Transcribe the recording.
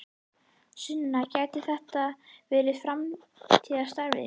Sunna: Gæti þetta verið framtíðarstarfið ykkar?